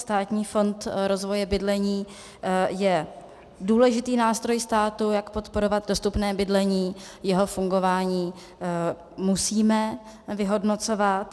Státní fond rozvoje bydlení je důležitý nástroj státu, jak podporovat dostupné bydlení, jeho fungování musíme vyhodnocovat.